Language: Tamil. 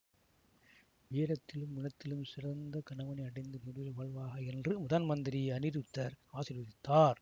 வீரத்திலும் குணத்திலும் சிறந்த கணவனை அடைந்து நீடுழி வாழ்வாயாக என்று முதன் மந்திரி அநிருத்தர் ஆசீர்வதித்தார்